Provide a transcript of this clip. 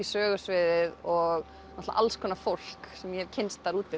sögusviðið og náttúrulega alls konar fólk sem ég hef kynnst